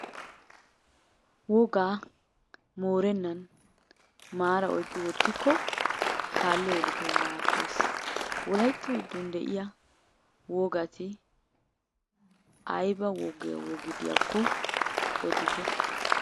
Wogaa moorennan maara oyqqi wotikko kaaliya yeletawu maadees. Wolaytta giddon diya wogati ayba wogi wogi diyaakko odite.